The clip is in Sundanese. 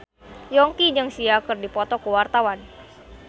Yongki jeung Sia keur dipoto ku wartawan